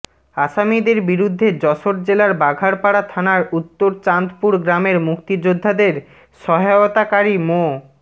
আসামিদের বিরুদ্ধে যশোর জেলার বাঘারপাড়া থানার উত্তর চাঁদপুর গ্রামের মুক্তিযোদ্ধাদের সহায়তাকারী মো